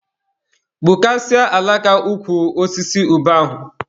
Gbukasịa alaka ukwu osisi ube ahụ!